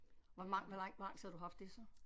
Hvor lang hvor lang hvor lang tid har du haft det så